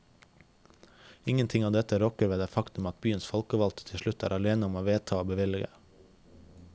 Ingenting av dette rokker ved det faktum at byens folkevalgte til slutt er alene om å vedta og bevilge.